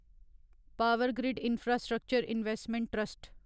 power grid infrastructure investment trust